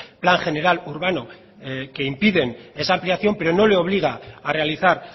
plan general urbano que impiden esa ampliación pero no le obliga a realizar